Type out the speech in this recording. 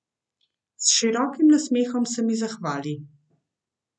S širokim nasmehom se mi zahvali.